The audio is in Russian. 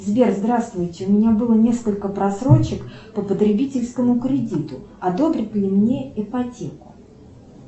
сбер здравствуйте у меня было несколько просрочек по потребительскому кредиту одобрят ли мне ипотеку